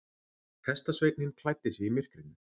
Hestasveinninn klæddi sig í myrkrinu.